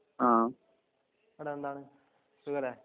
അആഹ് വിശേഷം എന്താണ്